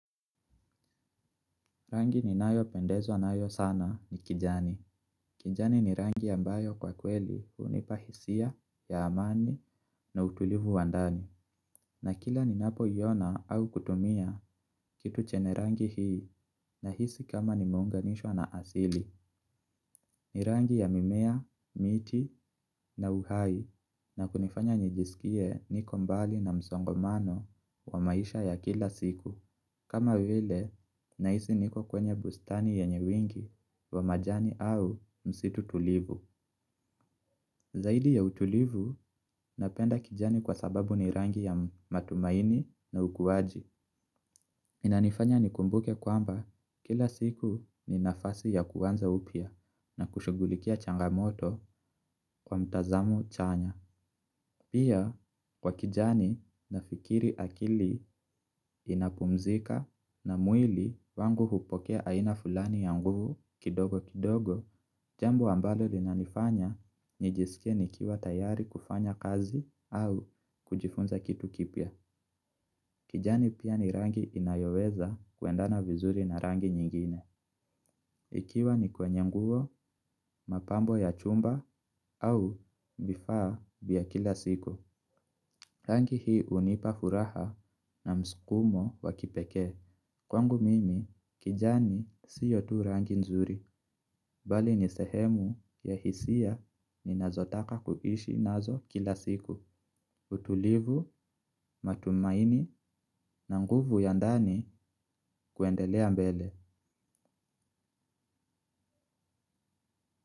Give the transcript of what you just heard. Rangi ninayopendezwa nayo sana ni kijani. Kijani ni rangi ambayo kwa kweli hunipa hisia ya amani na utulivu wa ndani. Na kila ninapoiona au kutumia kitu chenye rangi hii nahisi kama nimeunganishwa na asili. Ni rangi ya mimea, miti na uhai na kunifanya nijisikie niko mbali na msongomano wa maisha ya kila siku. Kama vile, nahisi niko kwenye bustani yenye wingi wa majani au msitu tulivu. Zaidi ya utulivu, napenda kijani kwa sababu ni rangi ya matumaini na ukuwaji. Inanifanya nikumbuke kwamba kila siku ni nafasi ya kuanza upya na kushughulikia changamoto kwa mtazamo chanya. Pia kwa kijani nafikiri akili inapumzika na mwili wangu hupokea aina fulani ya nguvu kidogo kidogo, jambo ambalo linanifanya nijisike nikiwa tayari kufanya kazi au kujifunza kitu kipya. Kijani pia ni rangi inayoweza kuendana vizuri na rangi nyingine. Ikiwa ni kwenye nguo, mapambo ya chumba au vifaa vya kila siku. Rangi hii hunipa furaha na msukumo wa kipekee. Kwangu mimi kijani sio tu rangi nzuri. Bali ni sehemu ya hisia ninazotaka kuishi nazo kila siku. Utulivu, matumaini na nguvu ya ndani kuendelea mbele.